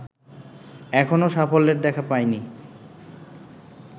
এখনো সাফল্যের দেখা পায়নি